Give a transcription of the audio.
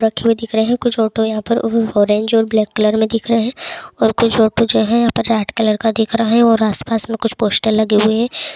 रखे हुए दिख रहें है कुछ ऑटो यहाँ पर ऑरेंज और ब्लेक कलर में दिख रहें हैं और कुछ ऑटो जो हैं यहाँ पे रेड कलर का दिख रहा है और आसपास में कुछ पोस्टर लगे हुए हैं।